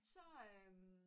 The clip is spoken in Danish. Så øh